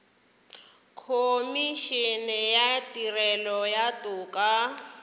khomišene ya tirelo ya toka